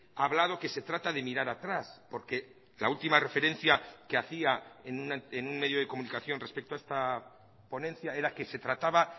ha hablado que se trata de mirar atrás porque la última referencia que hacía en un medio de comunicación respecto a esta ponencia era que se trataba